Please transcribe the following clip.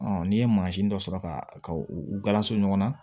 n'i ye mansin dɔ sɔrɔ ka ka u galaso ɲɔgɔnna